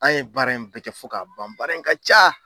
An ye baara in bɛɛ kɛ fo k'a ban baara in ka ca.